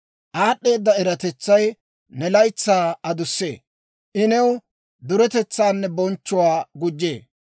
Aad'd'eeda eratetsay ne laytsaa adussee; I new duretetsaanne bonchchuwaa gujjee.